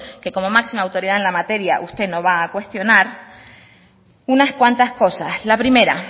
que como máxima autoridad en la materia usted no va a cuestionar unas cuantas cosas la primera